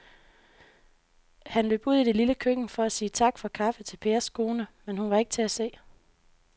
Han løb ud i det lille køkken for at sige tak for kaffe til Pers kone, men hun var ikke til at se.